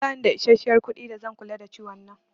Ba ni da isashiyar kuɗi da zan kula da ciwon nan